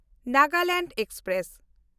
Nagaland express